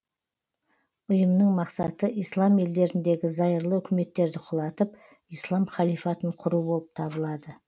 ұйымның мақсаты ислам елдеріндегі зайырлы үкіметтерді құлатып ислам халифатын құру болып табылады